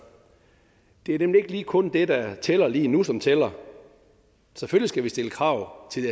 det er nemlig ikke kun det der tæller lige nu som tæller selvfølgelig skal vi stille krav til